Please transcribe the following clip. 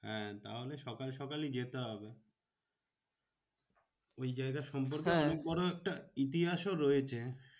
হ্যাঁ তাহলে সকাল সকালই যেতে হবে। ওই জায়গা সম্পর্কে অনেক বড় একটা ইতিহাসও রয়েছে।